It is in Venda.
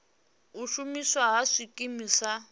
u shumiswa ha zwikimu zwa